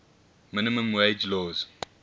minimum wage laws